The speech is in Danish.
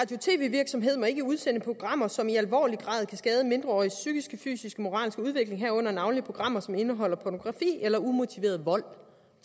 virksomheder må ikke udsende programmer som i alvorlig grad kan skade mindreåriges psykiske fysiske moralske udvikling herunder navnlig programmer som indeholder pornografi eller umotiveret vold